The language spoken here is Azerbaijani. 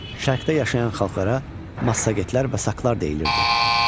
Şərqdə yaşayan xalqlara Massagetlər və saklar deyilirdi.